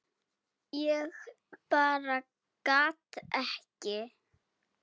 Ég bara gat ekki.